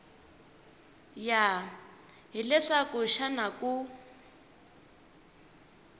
ya hi leswaku xana ku